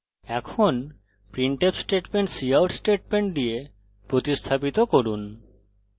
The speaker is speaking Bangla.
এখন printf statement cout statement দিয়ে প্রতিস্থাপিত করুন